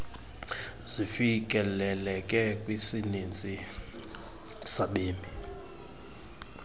zifikeleleke kwisininzi sabemi